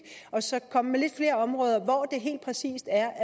og så komme med lidt flere områder hvor